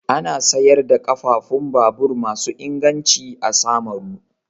Ana sayar da ƙafafun babur masu inganci a Samaru.